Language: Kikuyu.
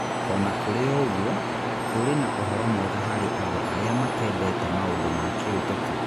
O na kũrĩ ũguo, kũrĩ na ũhoro mwega harĩ andũ arĩa matendete maũndũ ma kĩũteti